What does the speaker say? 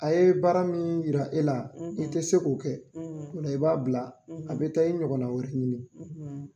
A ye baara min yira e la i te se k'o kɛ ola i b'a bila a be taa i ɲɔgɔn nana wɛrɛ ɲini